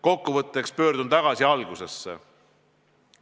Kokkuvõtteks pöördun tagasi algusesse.